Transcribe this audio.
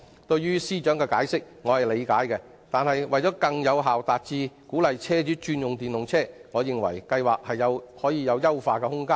我理解司長的解釋，但為了更有效鼓勵車主轉用電動車輛，我認為這項計劃有進一步優化的空間。